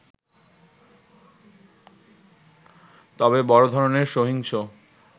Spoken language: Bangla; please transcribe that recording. তবে বড় ধরনের সহিংস